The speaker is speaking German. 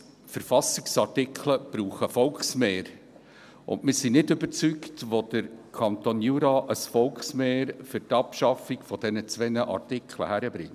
Verfassungsartikel brauchen Volksmehre und wir sind nicht überzeugt, dass der Kanton Jura ein Volksmehr für die Abschaffung dieser zwei Artikeln hinbekommt.